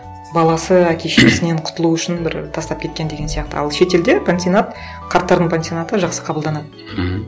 баласы әке шешесінен құтылу үшін бір тастап кеткен деген сияқты ал шетелде пансионат қарттардың пансионаты жақсы қабылданады мхм